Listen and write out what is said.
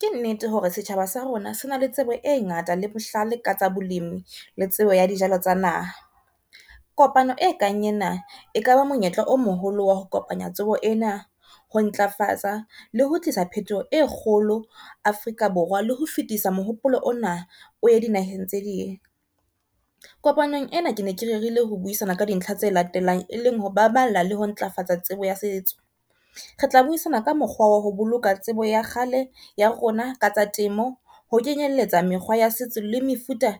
Ke nnete hore setjhaba sa rona se na le tsebo e ngata le bohlale ka tsa bolemi le tsebo ya dijalo tsa naha. Kopano e kang ena e kaba monyetla o moholo wa ho kopanya tsebo ena ho ntlafatsa le ho tlisa phetoho e kgolo Afrika Borwa, le ho fetisa mohopolo ona o ye dinaheng tse ding. Kopanong ena ke ne ke rerile ho buisana ka dintlha tse latelang e leng ho baballa le ho ntlafatsa tsebo ya setso, re tla buisana ka mokgwa wa ho boloka tsebo ya kgale ya rona ka tsa temo, ho kenyelletsa mekgwa ya setso le mefuta